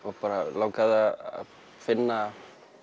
langaði að finna